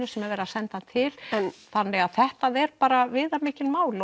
sem er verið að senda hann til þannig að þetta er bara viðamikið mál